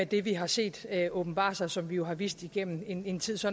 det vi har set åbenbare sig og som vi jo har vidst igennem en en tid så